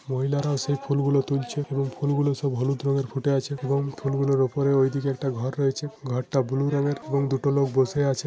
মহিলা রায় সেই ফুল গুলো তুলছে । এবং ফুল গুলো সব হলুদ রঙের ফুটে আছে এবং ফুল গুলোর ওপরে ওই দিকে একটা ঘর রয়েছে । ঘর টা ব্লু রঙের এবং দুটো লোক বসে আছে ।